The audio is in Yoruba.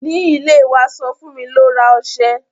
Ní ilẹ̀ wa sọ fún mi ló rà oṣẹ̀